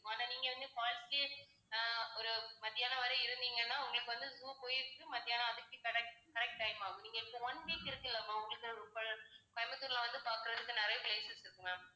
ஆனா நீங்க வந்து அஹ் ஒரு மதியானம் வரை இருந்தீங்கன்னா உங்களுக்கு வந்து zoo போயிட்டு மதியானம் correct correct time ஆகும். நீங்க இப்ப one week இருக்குல்ல ma'am உங்களுக்குக் அஹ் கோயம்புத்தூர்ல வந்து பார்க்கிறதுக்கு நிறைய places இருக்கு ma'am.